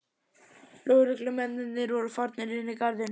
Lögreglumennirnir voru farnir inn í garðinn.